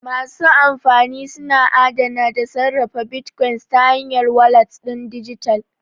Masu amfani suna adana da sarrafa bitcoins ta hanyar walat ɗin dijital.